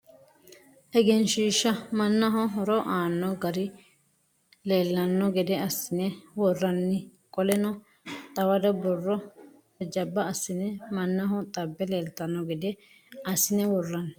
Egensiishsha mannaho horo aanno garii leellanno gede assine worranni. Qoleno xawado borro jajjaba assine mannaho xabbe leeltanno gede assine worranni.